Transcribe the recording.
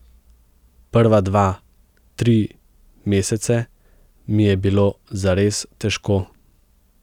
Prva dva, tri mesece, mi je bilo zares težko.